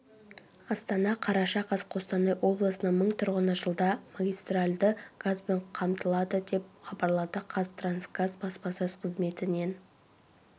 астана қараша қаз қостанай облысының мың тұрғыны жылда магистральды газбен қамтылады деп хабарлады қазтрансгаз баспасөз қызметінен